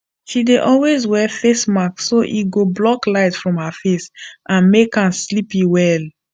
she dey always wear eyes mask so e go block light from her face and make am sleepy well